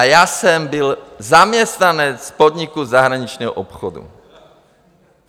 A já jsem byl zaměstnanec podniku zahraničního obchodu.